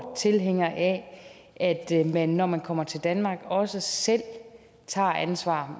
tilhænger af at man når man kommer til danmark også selv tager ansvar